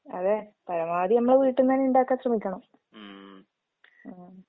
അതെ. പരമാവധി നമ്മള് വീട്ട്ന്നന്നെ ഇണ്ടാക്കാൻ ശ്രമിക്കണം. ഉം.